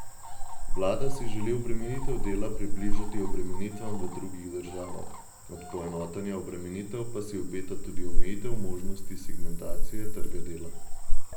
Vlada si želi obremenitev dela približati obremenitvam v drugih državah, od poenotenja obremenitev pa si obeta tudi omejitev možnosti segmentacije trga dela.